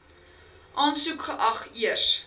aansoek geag eers